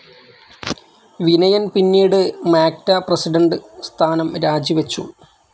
വിനയൻ പിന്നീട് മാക്ട പ്രസിഡന്റ്‌ സ്ഥാനം രാജി വച്ചു.